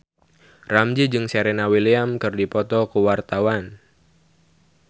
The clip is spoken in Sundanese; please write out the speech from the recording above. Ramzy jeung Serena Williams keur dipoto ku wartawan